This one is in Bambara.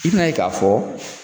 I bin'a ye k'a fɔ